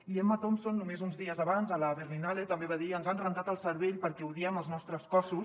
i emma thompson només uns dies abans a la berlinale també va dir ens han rentat el cervell perquè odiem els nostres cossos